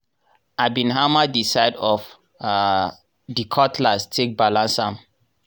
i bin hammer di side of um di cutlass take balance am.